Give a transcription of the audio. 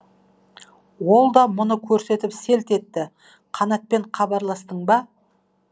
ол да мұны көріп селт етті қанатпен хабарластың ба